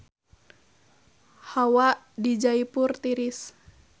Hawa di Jaipur tiris